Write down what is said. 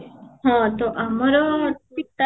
ହଁ, ତ ଆମର ଠିକ time